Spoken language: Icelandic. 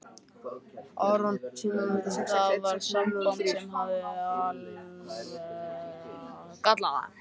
Það var samband sem hafði alvarlega galla.